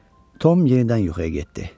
Tom yenidən yuxuya getdi.